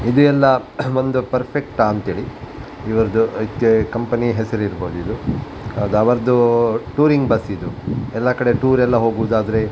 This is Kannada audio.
ಇದು ಎಲ್ಲ ಒಂದು ಪರ್ಫೆಕ್ಟ್ ಆ ಅಂಥೇಳಿ ಇದು ಕಂಪನಿ ಹೆಸರಿರಬಹುದು ಇದು ಅವ್ರದ್ದು ಟೂರಿಂಗ್ ಬಸ್ ಇದು ಎಲ್ಲ ಕಡೆ ಟೂರ್ ಎಲ್ಲ ಹೋಗುವುದಾದರೆ-